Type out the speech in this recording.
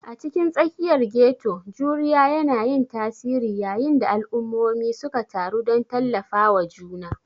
A cikin tsakiyar ghetto, juriya yana yin tasiri yayin da al'ummomi suka taru don tallafawa juna.